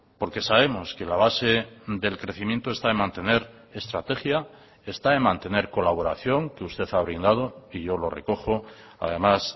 porque sabemos que la base del crecimiento está en mantener estrategia está en mantener colaboración que usted ha brindado y yo lo recojo además